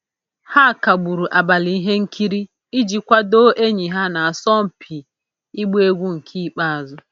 Ha kagburu abalị ihe nkiri iji kwadoo enyi ha na-asọ mpi igba egwu nke ikpeazụ